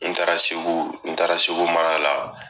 N taara segu n taara segu mara la